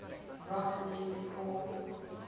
rock music called